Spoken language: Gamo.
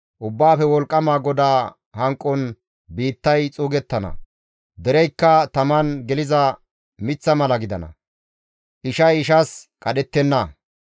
Ubbaafe Wolqqama GODAA hanqon biittay xuugettana; dereykka taman geliza miththa mala gidana; ishay ishas qadhettenna.